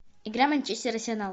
игра манчестер арсенал